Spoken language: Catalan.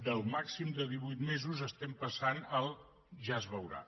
del màxim de divuit mesos passem al ja es veurà